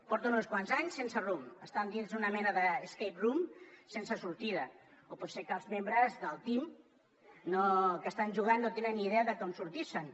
porten uns quants anys sense rumb estan dins una mena de escape room sense sortida o pot ser que els membres del teamidea de com sortir se’n